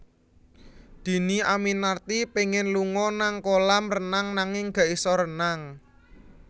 Dhini Aminarti pengen lunga nang kolam renang nanging gak iso renang